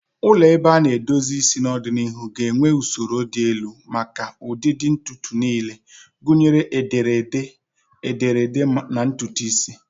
Ụlọ ebe a na-edozi isi n'ọdịnihu ga-enwe usoro dị elu maka ụdị ntutu niile, gụnyere ederede ederede na ntutu isi.